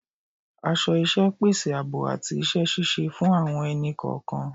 Aso iṣẹ́ pèsè ààbò àti iṣẹ́ ṣíṣe fún àwọn ẹni-kọọkan